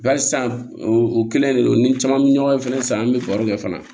Bari sisan o kelen de don ni caman be ɲɔgɔn ye fɛnɛ san an be barow kɛ fana